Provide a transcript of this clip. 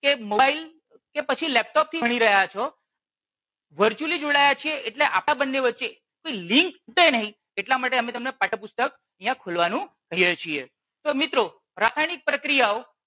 કે મોબાઈલ કે પછી લેપટોપ થી ભણી રહ્યા છો. virtually જોડાયા છીએ એટલે આપણાં બંને વચ્ચે લિન્ક તૂટે નહીં એટલા માટે અમે તમને પાઠ્ય પુસ્તક અહિયાં ખોલવાનું કહીએ છીએ. તો મિત્રો રાસાયણીક પ્રક્રીયાઓ